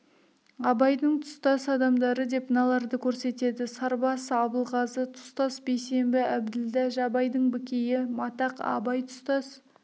абайдың тұстас адамдары деп мыналарды көрсетеді сарбас абылғазы тұстас бейсембі әбділда жабайдың бікейі матақ абай тұстас